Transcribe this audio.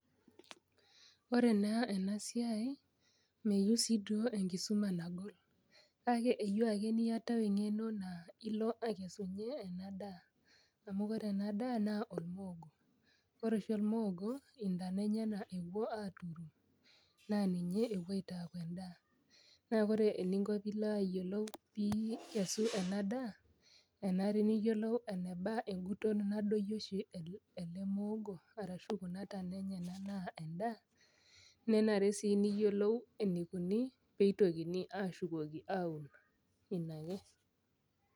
Ore naa ena siai meyieu sii duo enkisuma nagol kake eyieu ake niatau eng'eno naa ilo akesunyie ena daa amu kore ena daa naa olmuogo kore oshi ormuogo intana enyenak epuo aturu naa ninye epuo aitaaku endaa naa kore eninko piilo ayiolou piikesu ena daa enare niyiolou eneba enguton nadoyio oshi ele muogo arashu kuna tana enyenak naa endaa nenare sii niyiolou enikuni peitokini ashukoki aun ina ake.